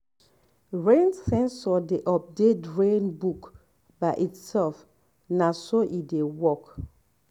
rain sensor dey update rain book by itself na so e dey work.